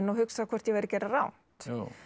hugsa hvort ég væri að gera rangt